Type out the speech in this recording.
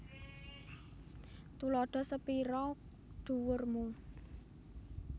Tuladha sepira dhuwur mu